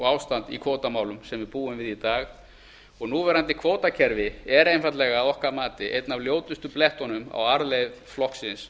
ástand í kvótamálum sem við búum við í dag og núverandi kvótakerfi er einfaldlega að okkar mati einn af ljótustu blettunum á arfleifð flokksins